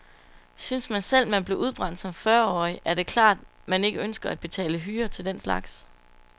Synes man selv, man blev udbrændt som fyrreårig, er det klart, man ikke ønsker at betale hyre til den slags.